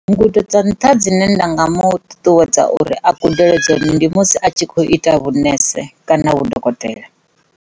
Ngudo dza nṱha dzine nda nga muṱuṱuwedza uri a gudele dzone ndi musi a tshi kho ita vhunese kana vhudokotela.